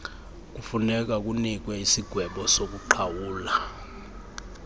kufunekwa kunikwe isigwebosokuqhawula